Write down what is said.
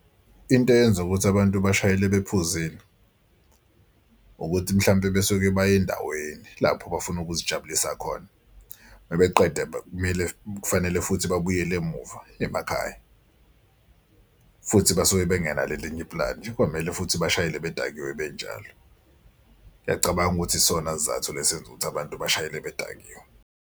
Into eyenza ukuthi abantu bashayele bephuzile ukuthi mhlampe besuke baya endaweni lapho bafuna ukuzijabulisa khona. Uma beqeda kumele kufanele futhi babuyele emuva emakhaya, futhi basuke bengenalo elinye i-plan, kwamele futhi bashayele bedakiwe benjalo. Ngiyacabanga ukuthi isona sizathu esenza ukuthi abantu bashayele bedakiwe.